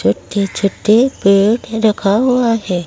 छोटे छोटे पेड़ रखा हुआ है।